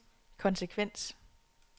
konsekvens